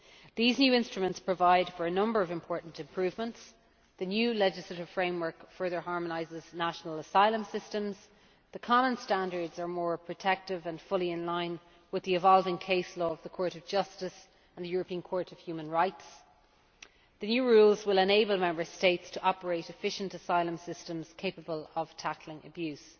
These new instruments provide for a number of important improvements the new legislative framework further harmonises national asylum systems, the common standards are more protective and fully in line with the evolving case law of the Court of Justice and the European Court of Human Rights, and the new rules will enable Member States to operate efficient asylum systems capable of tackling abuse.